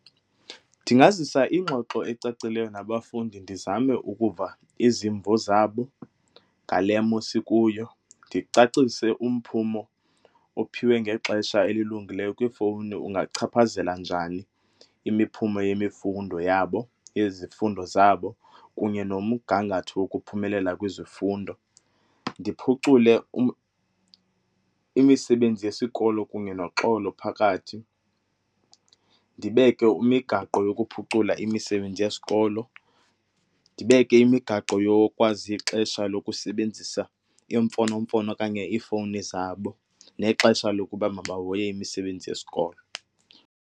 Ndingazisa ingxoxo ecacileyo nabafundi ndizame ukuva izimvo zabo ngale mo sikuyo, ndicacise umphumo ophiwe ngexesha elilungileyo kwiifowuni ungachaphazela njani imiphumo yemifundo yabo yezifundo zabo kunye nomgangatho wokuphumelela kwizifundo. Ndiphucule imisebenzi yesikolo kunye noxolo phakathi, ndibeke imigaqo yokuphucula imisebenzi yesikolo, ndibeke imigaqo yokwazi ixesha lokusebenzisa iimfonomfono okanye iifowuni zabo nexesha lokuba makahoye imisebenzi yesikolo.